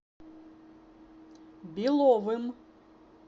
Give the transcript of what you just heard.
беловым